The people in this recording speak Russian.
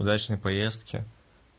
удачной поездки